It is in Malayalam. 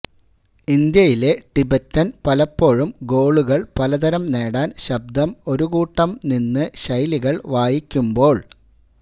ഇന്ത്യയിലെ ടിബറ്റൻ പലപ്പോഴും ഗോളുകൾ പലതരം നേടാൻ ശബ്ദം ഒരു കൂട്ടം നിന്ന് ശൈലികൾ വായിക്കുമ്പോൾ